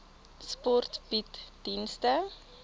sport bied dienste